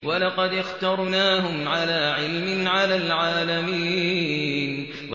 وَلَقَدِ اخْتَرْنَاهُمْ عَلَىٰ عِلْمٍ عَلَى الْعَالَمِينَ